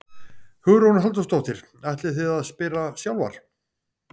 Hugrún Halldórsdóttir: Ætlið þið að spila sjálfar?